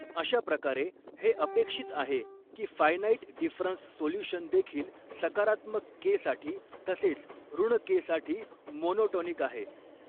अशा प्रकारे हे अपेक्षित आहे की फ़ायनाईट डिफ़रन्स सोल्युशन देखील सकारात्मक के साठी तसेच ऋण के साठी मोनोटोनिकआहे.